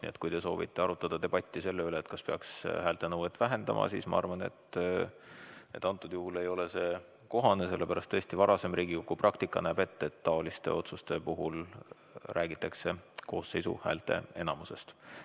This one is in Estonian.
Nii et kui te soovite debatti selle üle, kas peaks häälte nõuet vähendama, siis ma arvan, et antud juhul ei ole see kohane, sellepärast et varasem Riigikogu praktika näeb ette, et taoliste otsuste puhul räägitakse koosseisu häälteenamusest.